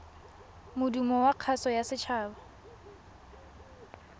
modumo wa kgaso ya setshaba